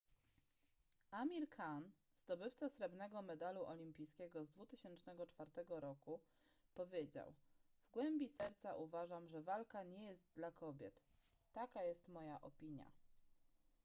amir khan zdobywca srebrnego medalu olimpijskiego z 2004 roku powiedział w głębi serca uważam że walka nie jest dla kobiet taka jest moja opinia